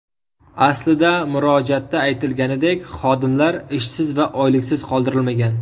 Aslida murojaatda aytilganidek, xodimlar ishsiz va oyliksiz qoldirilmagan.